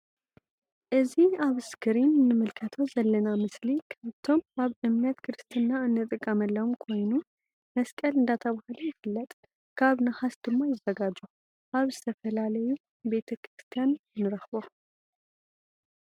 እዚ አብ እስክሪን እንምልከቶ ዘለና ምስሊ ካብቶም አብ እምነት ክርስትና እንጥቀመሎም ኮይኑ መስቀል እንዳተብሃለ ይፍለጥ ካብ ንሃስ ድማ ይዘጋጆ::አብ ዝተፈላዩ ቤተ ክርስትያን ንረክቦ::